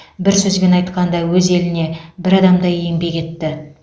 бір сөзбен айтқанда өз еліне бір адамдай еңбек етті